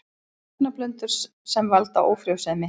Efnablöndur sem valda ófrjósemi